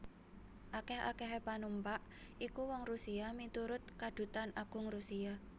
Akèh akèhé panumpak iku wong Rusia miturut Kadutan Agung Rusia